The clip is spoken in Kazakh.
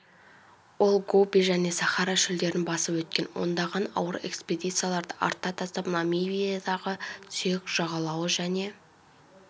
ол гоби және сахара шөлдерін басып өткен ондаған ауыр экспедицияларды артта тастап намибиядағы сүйек жағалауы және